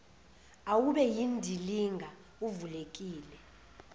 awube yindilinga uvulekile